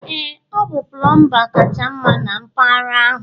ee ọ bụ pulumba kacha mma na mpaghara ahụ